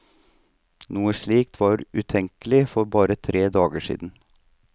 Noe slikt var utenkelig for bare tre dager siden.